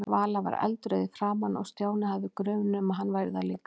Vala var eldrauð í framan og Stjáni hafði grun um að hann væri það líka.